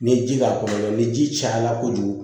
Ni ye ji k'a kɔnɔ ni ji cayala kojugu